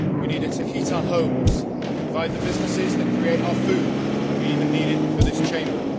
We need it to heat our homes, to provide the businesses that create our food, and we even need it for this Chamber.